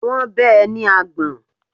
Wọ́n bẹ́ ẹ ní àgbọ̀n.